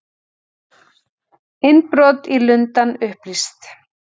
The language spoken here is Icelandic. Innbrot í Lundann upplýst